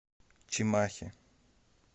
чимахи